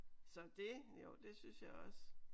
Så det jo det synes jeg også